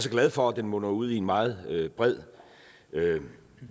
er glad for at den munder ud i en meget bred